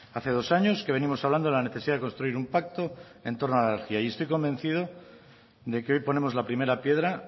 hace dos años que venimos hablando de la necesidad de construir un pacto en torno a la energía y estoy convencido de que hoy ponemos la primera piedra